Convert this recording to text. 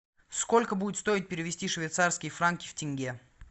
сколько будет стоить перевести швейцарские франки в тенге